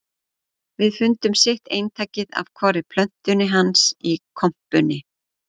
Við fundum sitt eintakið af hvorri plötunni hans í kompunni